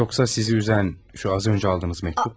Yoxsa sizi üzən şu az öncə aldığınız mektubmu?